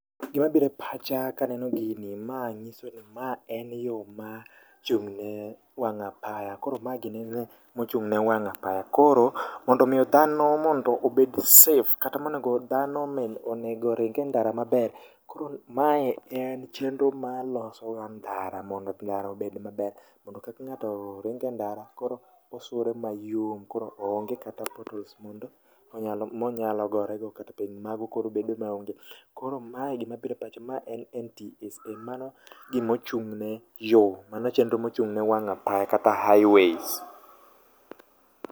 Gimabire pacha kaneno gini maa nyisoni maa en yoo ma chung'ne wang' apaya koro ma gini mochung'ne wang' apaya koro mondo miyo dhano mondo obed safe kata monego dhano onego oringe ndara maber .Koro mae en chenro ma losoga ndara mondo ndara obed maber mondo kang'ato ringe ndara koro osuore mayom koro onge kata potholes mondo monyalogorego kata piny mago koro bedo maonge koro mae gimabire pacha ma en NTSA.Mano gimochung'ne yoo, mano e chenro mochung'ne wang' apaya kata highways.